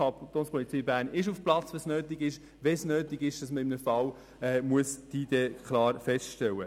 Die Kantonspolizei Bern ist auf Platz, wenn es nötig ist, in einem Fall die Identität festzustellen.